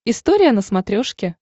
история на смотрешке